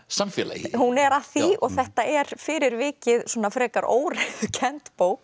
samfélagi hún er að því og þetta er fyrir vikið svona frekar óreiðukennd bók